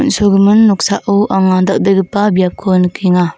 on·sogimin noksao anga dal·begipa biapko nikenga.